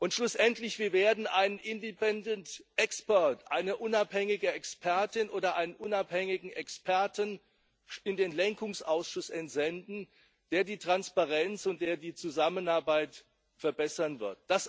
Schlussendlich Wir werden einen independent expert eine unabhängige Expertin oder einen unabhängigen Experten, in den Lenkungsausschuss entsenden, der die Transparenz und die Zusammenarbeit verbessern wird.